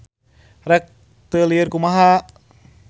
Rek teu lieur kumaha.